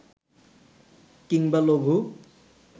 কিংবা লঘু